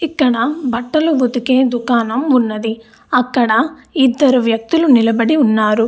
ఇక్కడ బట్టలు ఉతికే దుకాణం ఉన్నది అక్కడ ఇద్దరు వేక్తిలు నిలబడి ఉన్నారు.